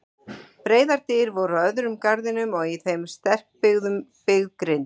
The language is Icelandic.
Breiðar dyr voru á öðrum garðinum og í þeim sterkbyggð grind.